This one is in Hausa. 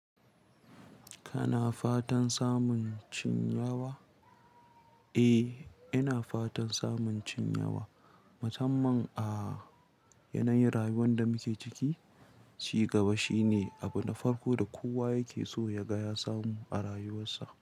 Kana fatan samun cinyawa? Eh, ina fatan samun cinyawa. Musamman a yanayin rayuwar da muke ciki, ci gaba shine abu na farko da kowa yake so ya ga ya samu a rayuwarsa.